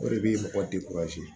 O de bɛ mɔgɔ